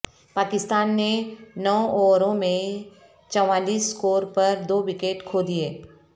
پاکستان نے نو اوور میں چوالیس سکور پر دو وکٹ کھو دیئے